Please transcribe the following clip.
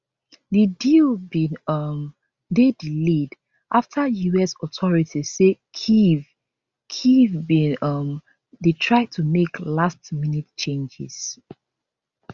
di deal bin um dey delayed after us authorities say kyiv kyiv bin um dey try to make lastminute changes